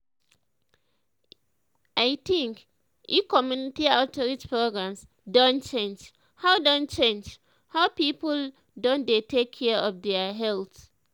i think eh community outreach programs don change how don change how people don dey take care of their health